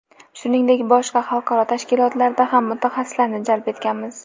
Shuningdek, boshqa xalqaro tashkilotlardan ham mutaxassislarni jalb etganmiz.